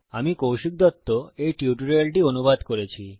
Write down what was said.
আমি কৌশিক দত্ত এই টিউটোরিয়ালটি অনুবাদ করেছি